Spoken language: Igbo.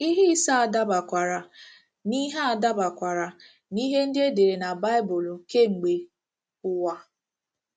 Ihe ise a dabakwara n’ihe a dabakwara n’ihe ndị e dere na Baịbụl kemgbe ụwa.